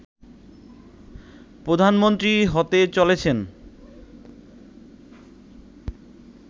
প্রধানমন্ত্রী হতে চলেছেন